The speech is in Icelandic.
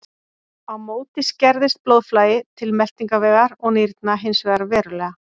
Á móti skerðist blóðflæði til meltingarvegar og nýrna hins vegar verulega.